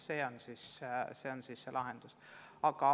See on siiski lahendus.